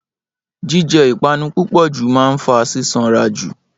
jíjẹ ìpanu púpò jù máa ń fa sísanra jù